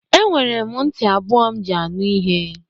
Enwere m ntị abụọ m ji anụ ihe.